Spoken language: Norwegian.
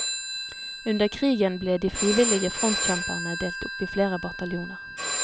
Under krigen ble de frivillige frontkjempere delt opp flere bataljoner.